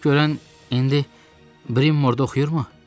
Görən indi Brimore-da oxuyurmu?